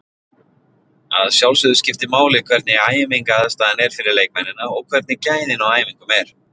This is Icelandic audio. Að sjálfsögðu skiptir máli hvernig æfingaaðstaðan er fyrir leikmennina og hvernig gæðin á æfingum er.